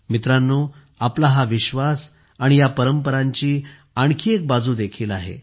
मित्रांनो आपला हा विश्वास आणि या परंपरांची आणखी एक बाजू देखील आहे